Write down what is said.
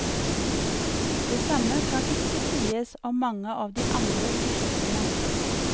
Det samme kan ikke sies om mange av de andre prosjektene.